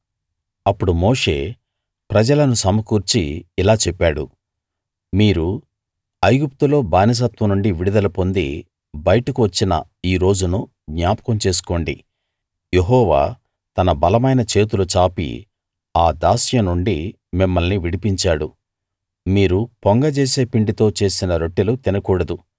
అప్పుడు మోషే ప్రజలను సమకూర్చి ఇలా చెప్పాడు మీరు ఐగుప్తులో బానిసత్వం నుండి విడుదల పొంది బయటకు వచ్చిన ఈ రోజును జ్ఞాపకం చేసుకోండి యెహోవా తన బలమైన చేతులు చాపి ఆ దాస్యం నుండి మిమ్మల్ని విడిపించాడు మీరు పొంగ జేసే పిండితో చేసిన రొట్టెలు తినకూడదు